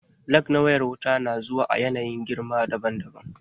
Lag na wayar wuta na zuwa a yanayin girma daban daban